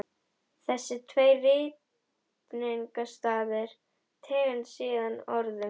Þessir tveir ritningarstaðir tengdust síðan orðum